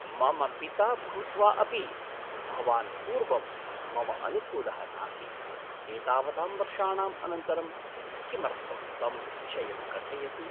मम पिता भूत्वा अपि भवान् पूर्वं मम अनुकूलः नासीत्। एतावतां वर्षाणाम् अनन्तरं किमर्थं तं विषयं कथयसि? पुत्रः